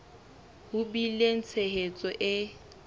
ho bile le tshehetso e